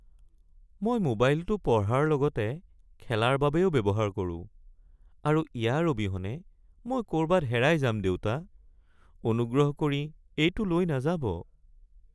মই মোবাইলটো পঢ়াৰ লগতে খেলাৰ বাবেও ব্যৱহাৰ কৰো আৰু ইয়াৰ অবিহনে মই ক’ৰবাত হেৰাই যাম, দেউতা। অনুগ্ৰহ কৰি এইটো লৈ নাযাব। (শিশু)